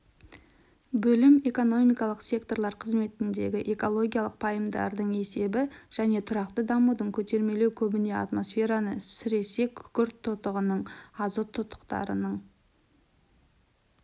бөлім экономикалық секторлар қызметіндегі экологиялық пайымдардың есебі және тұрақты дамуды көтермелеу көбіне атмосфераны сіресе күкірт тотығының азот тотықтарының